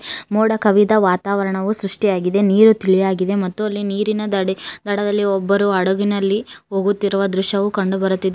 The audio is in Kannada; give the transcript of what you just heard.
ಮೋಡ ಕವಿದ ವಾತಾವರಣವು ಸೃಷ್ಟಿಯಾಗಿದೆ ನೀರು ತಿಳಿಯಾಗಿದೆ ಮತ್ತು ಅಲ್ಲಿ ನೀರಿನ ದಡಿ ದಡದಲ್ಲಿ ಒಬ್ಬರು ಹಡಗಿನಲ್ಲಿ ಹೋಗುತ್ತಿರುವ ದೃಶ್ಯವೂ ಕಂಡು ಬರುತ್ತಿದೆ.